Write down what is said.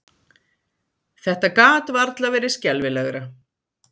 Þetta gat varla verið skelfilegra!